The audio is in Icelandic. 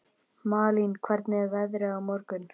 Malín, hvernig er veðrið á morgun?